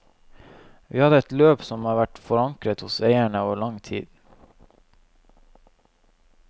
Vi hadde et løp som har vært forankret hos eierne over lang tid.